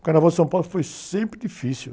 O Carnaval de São Paulo foi sempre difícil.